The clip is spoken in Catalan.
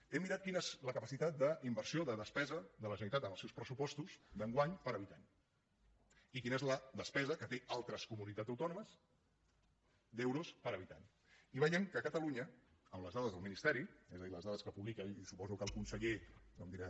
he mirat quina és la capacitat d’inversió de despesa de la generalitat en els seus pressupostos d’enguany per habitant i quina és la despesa que tenen altres comunitats autònomes d’euros per habitant i veiem que catalunya amb les dades del ministeri és a dir les dades que publica i suposo que el conseller no em dirà